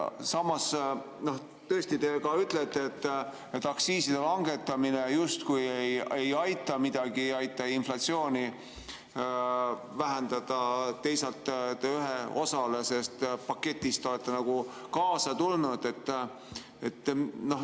Samas, tõesti te ka ütlete, et aktsiiside langetamine justkui ei aita midagi, ei aita inflatsiooni vähendada, teisalt te ühe osaga sellest paketist olete nagu kaasa tulnud.